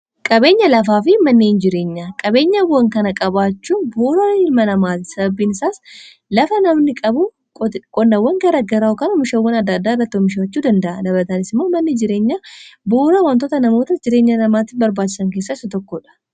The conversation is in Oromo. qabeenya lafaa fi manni hin jireenya qabeenya awan kana qabaachuu buura ilma namaati sababiin isaas lafa namni qabu qonnawwan gara garaaakaan omishawwan adda-addaa irrattuomishaachuu danda'a dabatanis immoo manni jireenya buura wantoota namoota jireenya namaatti barbaachisan keessas tokkoodha